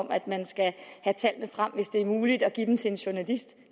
at man skal have tallene frem hvis det er muligt at give dem til en journalist